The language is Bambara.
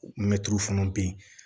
Mɛtiri fana bɛ yen